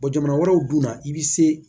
jamana wɛrɛw dun na i bɛ se